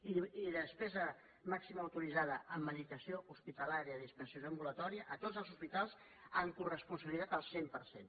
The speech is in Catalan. i despesa màxima autoritzada en medicació hospitalària i dispensació ambulatòria a tots els hospitals amb coresponsabilitat al cent per cent